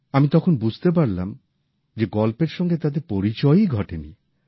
আমি তখন বুঝতে পারলাম যে গল্পের সঙ্গে তাদের পরিচয়ই ঘটেনি